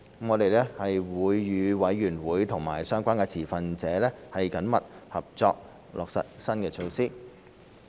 我們會與委員會和相關持份者緊密合作，落實新措施。